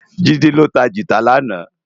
JIde lô tá gitá làná